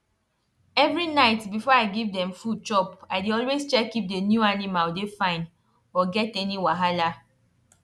every night before i give dem food chop i dey always check if the new animal dey fine or get any wahala